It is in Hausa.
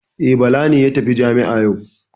E, Bala ne ya tafi jami'a yau.